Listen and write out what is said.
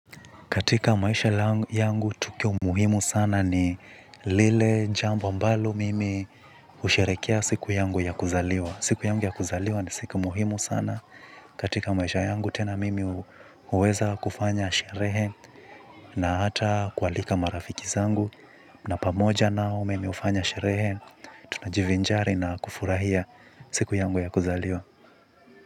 Katika maisha langu, yangu, tukio muhimu sana ni lile jambo ambalo mimi husherekea siku yangu ya kuzaliwa. Siku yangu ya kuzaliwa ni siku muhimu sana. Katika maisha yangu, tena mimi huweza kufanya sherehe na hata kualika marafiki zangu. Na pamoja nao mimi hufanya sherehe, tunajivinjari na kufurahia siku yangu ya kuzaliwa.